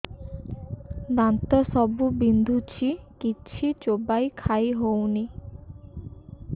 ଦାନ୍ତ ସବୁ ବିନ୍ଧୁଛି କିଛି ଚୋବେଇ ଖାଇ ହଉନି